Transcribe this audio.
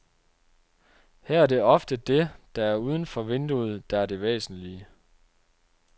Her er det ofte det, der er uden for vinduet, der er det væsentlige.